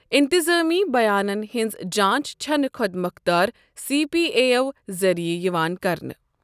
انتظٲمی بَیانَن ہنٛز جانٛچ چھنہٕ خۄد مۄختار سی پی اے یَو ذریعہٕ یِوان کرنہٕ۔